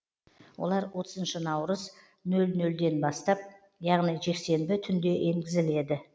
олар отызыншы наурыз нөл нөлден бастап яғни жексенбі түнде енгізіледі